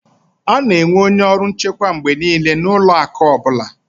A na-enwe onye ọrụ nchekwa mgbe niile na ụlọ akụ ọ bụla